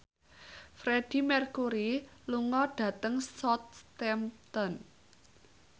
Freedie Mercury lunga dhateng Southampton